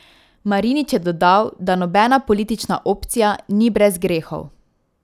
Marinič je dodal, da nobena politična opcija ni brez grehov.